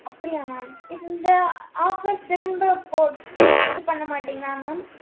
அப்டியா mam இப்~ இந்த offer திரும்ப போட்~ இது பண்ணமாட்டிங்களா mam